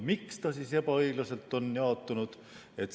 Miks ta ebaõiglaselt on jaotunud?